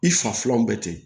I fa filanw bɛ ten